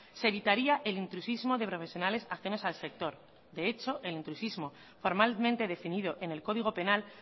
se evitaría el intrusismo de profesionales ajenos al sector de hecho el intrusismo formalmente definido en el código penal